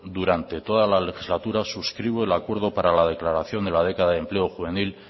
durante toda la legislatura subscribo el acuerdo para la declaración de la década de empleo juvenil